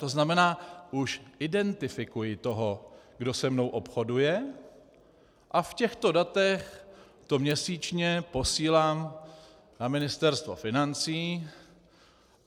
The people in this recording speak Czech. To znamená už identifikuji toho, kdo se mnou obchoduje, a v těchto datech to měsíčně posílám na Ministerstvo financí.